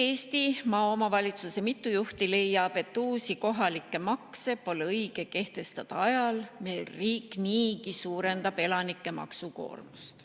Mitu Kesk-Eesti omavalitsuse juhti leiab, et uusi kohalikke makse pole õige kehtestada ajal, mil riik niigi suurendab elanike maksukoormust.